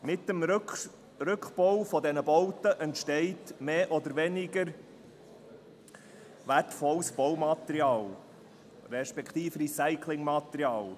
Mit dem Rückbau dieser Bauten entsteht mehr oder weniger wertvolles Bau- respektive Recyclingmaterial.